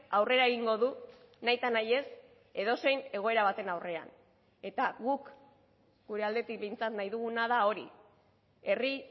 aurrera egingo du nahita nahiez edozein egoera baten aurrean eta guk gure aldetik behintzat nahi duguna da hori herri